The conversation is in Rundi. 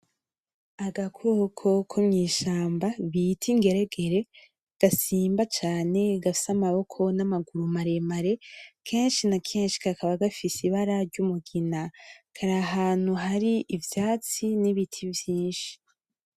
Agakoko ko mwishamba bita ingeregere ,gasimba cane gafise amaboko n’amaguru maremare , kenshi na kenshi kakaba gafise ibara ry’umugina, kari ahantu hari ivyatsi nibiti vyinshi .